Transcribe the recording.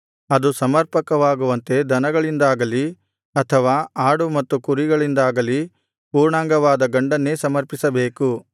ಅದು ಸಮರ್ಪಕವಾಗುವಂತೆ ದನಗಳಿಂದಾಗಲಿ ಅಥವಾ ಆಡು ಮತ್ತು ಕುರಿಗಳಿಂದಾಗಲಿ ಪೂರ್ಣಾಂಗವಾದ ಗಂಡನ್ನೇ ಸಮರ್ಪಿಸಬೇಕು